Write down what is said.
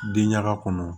Den ɲaga kɔnɔ